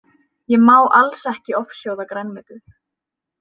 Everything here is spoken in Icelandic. Ég má alls ekki ofsjóða grænmetið